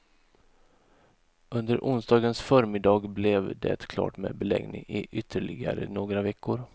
Under onsdagens förmiddag blev det klart med beläggning i ytterligare några veckor.